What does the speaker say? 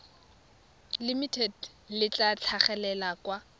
limited le tla tlhagelela kwa